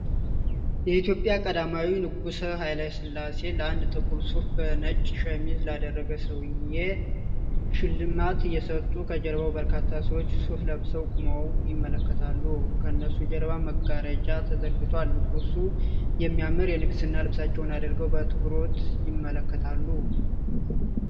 የኢትዮጵያ ቀዳማዊ ንጉስ ሃይለስላሴ ለአንድ ጥቁር ሱፍ በነጭ ሸሚዝ ላደረገ ሰውዬ ሽልማት እየሰጡ፤ ከጀርባ በርካታ ሰዎች ሱፍ ለብሰው ቁመው ይመለከታሉ፤ ከነሱ ጀርባ መጋረጃ ተዘርግቷል፤ ንጉሱ የሚያምር የንግስና ልብሳቸዉን አድርገው በአትኩሮት ይመለከታሉ።